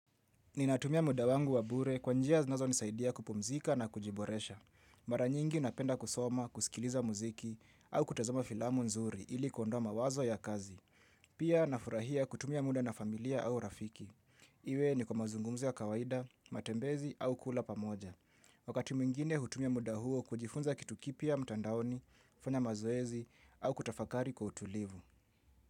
Ninatumia muda wangu wa bure kwa njia zinazonisaidia kupumzika na kujiboresha. Mara nyingi napenda kusoma, kusikiliza muziki au kutazama filamu nzuri ili kuondoa mawazo ya kazi. Pia nafurahia kutumia muda na familia au rafiki. Iwe ni kwa mazungumzo ya kawaida, matembezi au kula pamoja. Wakati mwingine hutumia muda huo kujifunza kitu kipya mtandaoni, kufanya mazoezi au kutafakari kwa utulivu.